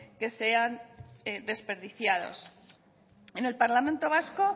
que sean desperdiciados en el parlamento vasco